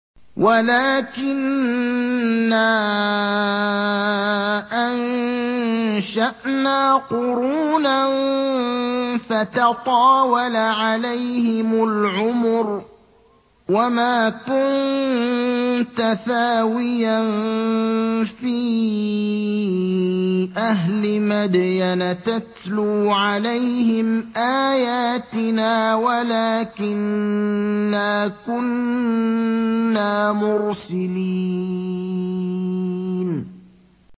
وَلَٰكِنَّا أَنشَأْنَا قُرُونًا فَتَطَاوَلَ عَلَيْهِمُ الْعُمُرُ ۚ وَمَا كُنتَ ثَاوِيًا فِي أَهْلِ مَدْيَنَ تَتْلُو عَلَيْهِمْ آيَاتِنَا وَلَٰكِنَّا كُنَّا مُرْسِلِينَ